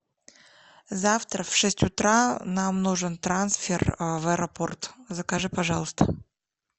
завтра в шесть утра нам нужен трансфер в аэропорт закажи пожалуйста